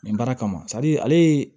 Nin baara kama ale ye